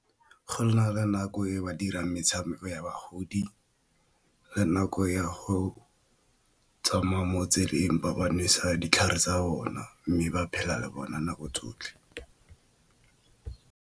Go na le nako e ba dirang metshameko ya bagodi le nako ya go tsamaya mo tseleng ba ba nwesa ditlhare tsa bona mme ba phela le bona nako tsotlhe.